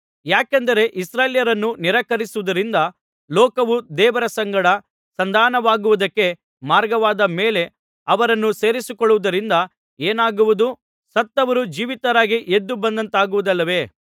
ಯಾಕೆಂದರೆ ಇಸ್ರಾಯೇಲ್ಯರನ್ನು ನಿರಾಕರಿಸುವುದರಿಂದ ಲೋಕವು ದೇವರ ಸಂಗಡ ಸಂಧಾನವಾಗುವುದಕ್ಕೆ ಮಾರ್ಗವಾದ ಮೇಲೆ ಅವರನ್ನು ಸೇರಿಸಿಕೊಳ್ಳುವುದರಿಂದ ಏನಾಗುವುದು ಸತ್ತವರು ಜೀವಿತರಾಗಿ ಎದ್ದುಬಂದತಾಗುವುದಿಲ್ಲವೇ